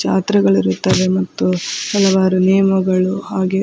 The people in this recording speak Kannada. ಜಾತ್ರೆಗಳು ಇರುತ್ತವೆ ಮತ್ತು ಹಲವಾರು ನೇಮಗಳು ಹಾಗೆ .